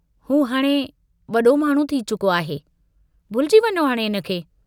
हू हाणे वडो माण्हू थी चुको आहे, भुलिजी वञो हाणे हिनखे।